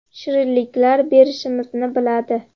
Shirinlik berishimizni biladi.